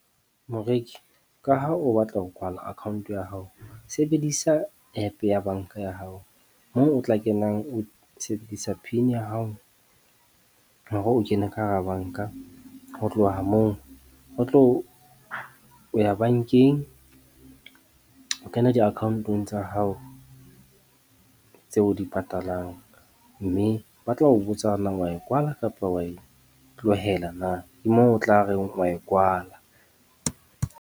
Moreki, ka ha o batla ho kwala account ya hao, sebedisa app ya banka ya hao moo o tla kenang o sebedisa pin ya hao hore o kene ka hara banka. Ho tloha moo o tlo o ya bankeng o kena di-account-ong tsa hao tse o di patalang. Mme ba tla o botsa na wa e kwala, kapa wa e tlohela na, ke moo o tla reng wa e kwala.